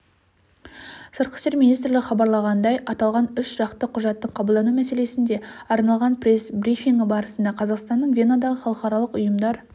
сыртқы істер министрлігі хабарлағандай аталған үшжақты құжаттың қабылдану мәселесіне арналған пресс-брифинг барысында қазақстанның венадағы халықаралық ұйымдар